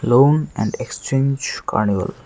Loan and exchange carnival.